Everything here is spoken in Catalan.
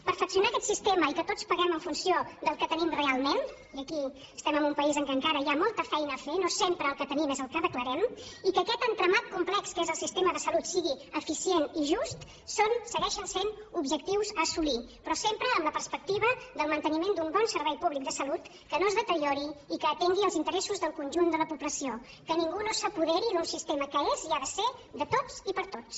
perfeccionar aquest sistema i que tots paguem en funció del que tenim realment i aquí estem en un país en què encara hi ha molta feina a fer no sempre el que tenim és el que declarem i que aquest entramat complex que és el sistema de salut sigui eficient i just són segueixen sent objectius a assolir però sempre amb la perspectiva del manteniment d’un bon servei públic de salut que no es deteriori i que atengui els interessos del conjunt de la població que ningú no s’apoderi d’un sistema que és i ha de ser de tots i per a tots